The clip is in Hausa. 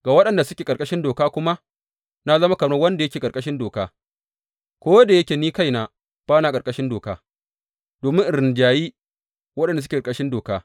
Ga waɗanda suke ƙarƙashin doka kuma, na zama kamar wanda yake ƙarƙashin Dokar ko da yake ni kaina ba na ƙarƙashin Doka, domin in rinjayi waɗanda suke ƙarƙashin Doka.